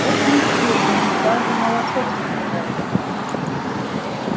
очень строгие они даже молоко пить не могут